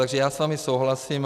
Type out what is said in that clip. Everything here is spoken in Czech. Takže já s vámi souhlasím.